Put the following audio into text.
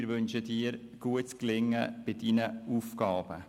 Wir wünschen Ihnen gutes Gelingen bei Ihren Aufgaben.